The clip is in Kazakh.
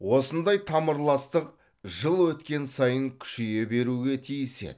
осындай тамырластық жыл өткен сайын күшейе беруге тиіс еді